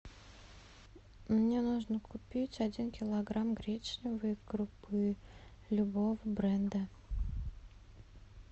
мне нужно купить один килограмм гречневой крупы любого бренда